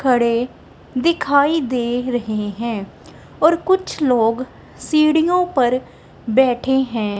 खड़े दिखाइ दे रहे हैं और कुछ लोग सिडियों पर बैठे हैं।